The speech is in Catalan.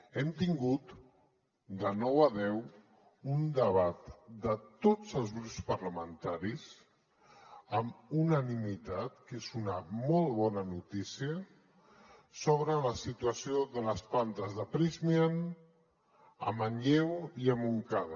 hem tingut de nou a deu un debat de tots els grups parlamentaris amb unanimitat que és una molt bona notícia sobre la situació de les plantes de prysmian a manlleu i a montcada